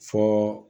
Fɔ